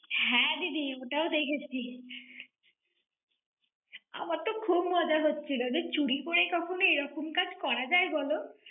হ্যাঁ দিদি, ওটাও দেখেছি। আমার তো খুব মজা হচ্ছিলো, যে চুরি করে কখনও এরকম কাজ করা যায় বলো?